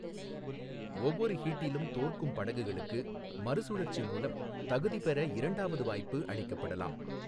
ஒவ்வொரு ஹீட்டிலும் தோற்கும் படகுகளுக்கு மறுசுழற்சி மூலம் தகுதி பெற இரண்டாவது வாய்ப்பு அளிக்கப்படலாம்.